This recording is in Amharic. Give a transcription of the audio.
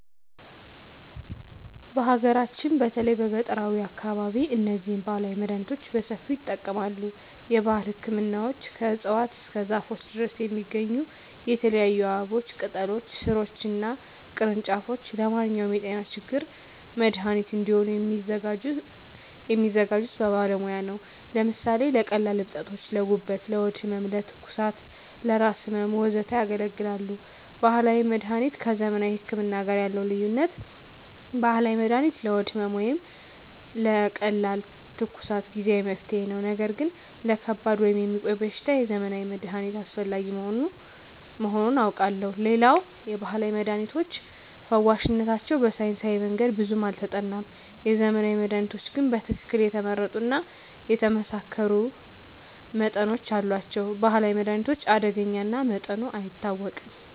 በሀገራችን በተለይም በገጠራዊ አካባቢዎች እነዚህን ባህላዊ መድሃኒቶች በሰፊው ይጠቀማሉ። የባህል ህክምናዎች ከእፅዋት እስከ ዛፎች ድረስ የሚገኙ የተለያዩ አበቦችን፣ ቅጠሎችን፣ ሥሮችን እና ቅርንጫፎች ለማንኛውም የጤና ችግር መድሃኒት እንዲሆኑ የሚያዘጋጁት በባለሙያ ነው። ለምሳሌ ለቀላል እብጠቶች: ለጉበት፣ ለሆድ ህመም፣ ለትኩሳት፣ ለራስ ህመም፣ ወዘተ ያገለግላሉ። ባህላዊ መድሀኒት ከዘመናዊ ህክምና ጋር ያለው ልዩነት፦ ባህላዊ መድሃኒት ለሆድ ህመም ወይም ለቀላል ትኩሳት ጊዜአዊ መፍትሄ ነው። ነገር ግን ለከባድ ወይም የሚቆይ በሽታ የዘመናዊ መድሃኒት አስፈላጊ መሆኑን አውቃለሁ። ሌላው የባህላዊ መድሃኒቶች ፈዋሽነታቸው በሳይንሳዊ መንገድ ብዙም አልተጠናም። የዘመናዊ መድሃኒቶች ግን በትክክል የተመረጡ እና የተመሳከሩ መጠኖች አሏቸው። የባህላዊ መድሃኒት አደገኛ እና መጠኑ አይታወቅም።